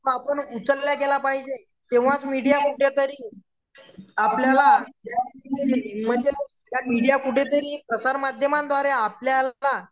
म आपण उचलला गेला पाहिजे तवा मीडिया कुठंतरी आपल्याला मीडिया कुठंतरी प्रसार माध्यमांद्वारे आपल्यला